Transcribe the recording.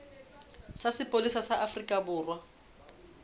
sa sepolesa sa afrika borwa